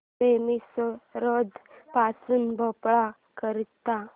railway Misrod पासून भोपाळ करीता